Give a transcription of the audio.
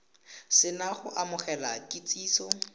se na go amogela kitsiso